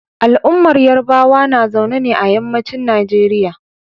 Al'ummar Yarbawa na zaune ne a yammacin Nigeria.